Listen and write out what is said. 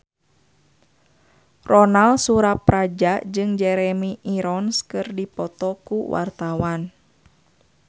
Ronal Surapradja jeung Jeremy Irons keur dipoto ku wartawan